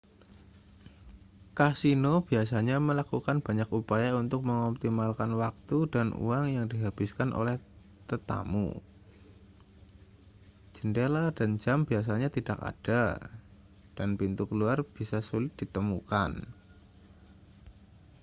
kasino biasanya melakukan banyak upaya untuk mengoptimalkan waktu dan uang yang dihabiskan oleh tetamu jendela dan jam biasanya tidak ada dan pintu keluar bisa sulit ditemukan